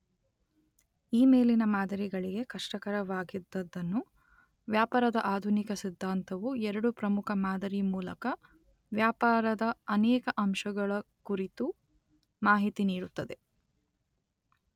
ಈ ಮೇಲಿನ ಮಾದರಿಗಳಿಗೆ ಕಷ್ಟಕರವಾಗಿದ್ದದನ್ನು ವ್ಯಾಪಾರದ ಆಧುನಿಕ ಸಿದ್ಧಾಂತವು ಎರಡು ಪ್ರಮುಖ ಮಾದರಿಮೂಲಕ ವ್ಯಾಪಾರದ ಅನೇಕ ಅಂಶಗಳ ಕುರಿತು ಮಾಹಿತಿನೀಡುತ್ತದೆ.